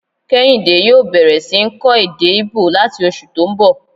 Kéhìndé yòó bẹ̀rẹ̀ sí ń kọ́ èdè íbò láti oṣù tó n bọ̀